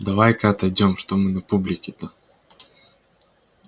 давай-ка отойдём что мы на публике-то